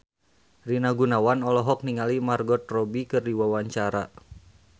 Rina Gunawan olohok ningali Margot Robbie keur diwawancara